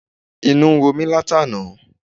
Inú ń run mí látàná.